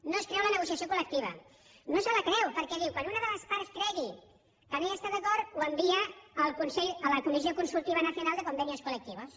no es creu la negociació col·lectiva no se la creu perquè diu quan una de les parts cregui que no hi està d’acord ho envia a la comissió consultiva nacional de convenios colectivos